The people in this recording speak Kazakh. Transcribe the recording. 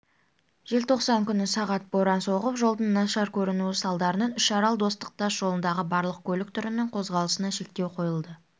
желтоқсан күні сағат боран соғып жолдың нашар көрінуі салдарынан үшарал достық тас жолындағы барлық көлік түрінің қозғалысына шектеу қойылды